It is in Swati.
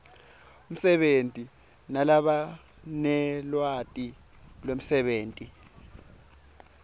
umsebenti nalabanelwati lwemsebenti